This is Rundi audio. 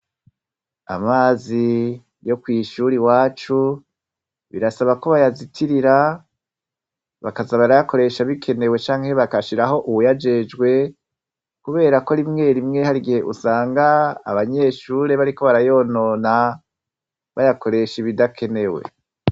Amazi yo kwishure iwacu birasaba ko bayazitirira bakaza barayakoresha bikenewe canke bagashiraho uwuyajejwe kubera ko rimwe rimwe harigihe usanga abanyeshure bariko barayonona bayakoresha ibidakenewe.